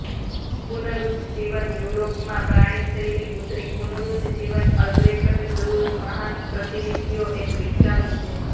પુનરુજ્જીવન યુરોપમાં પ્રાણી શૈલી ઉતરી પુનરુજ્જીવન અલ્બ્રેકટ દૂરર મહાન પ્રતિનિધિઓ એક વિકસાવી છે